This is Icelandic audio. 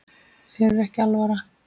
Þér er ekki alvara